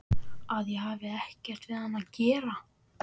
Að ég hefði ekkert við hann að gera.